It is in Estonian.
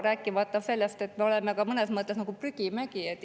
Rääkimata sellest, et me oleme mõnes mõttes ka nagu prügimägi.